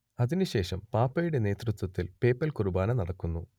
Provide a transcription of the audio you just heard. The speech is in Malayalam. അതിനുശേഷം പാപ്പയുടെ നേതൃത്വത്തിൽ പേപ്പൽ കുർബാന നടക്കുന്നു